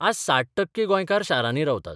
आज 60 टक्के गोंयकार शारांनी रावतात.